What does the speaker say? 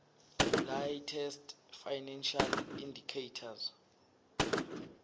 latest financial indicators